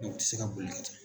U ti se ka boli ka taa